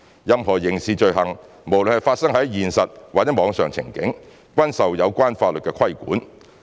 任何刑事罪行，無論是發生在現實或網上情景，均受有關法律規管。